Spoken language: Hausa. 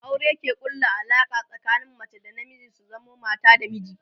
aure ke ƙulla Alaƙa tsakanin mace da na miji su zamo mata da miji